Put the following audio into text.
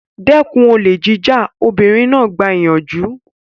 Dẹ́kun olè jíjà! Obìnrin náà gba ìyànjú.